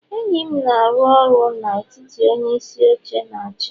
enyi m na-arụ ọrụ na etiti onyeisi oche na achi